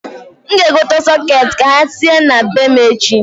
N g'egote sọkeeti ka ha tinye na be m echi.